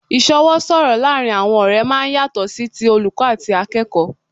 Ìsọwọ́ sọ̀rọ̀ laarin awọn ọ̀rẹ́ máa ń yàtọ̀ sí ti olùkọ́ àti akẹ́kọ̀ọ́